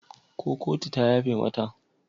Ko kotu ta yafe mata?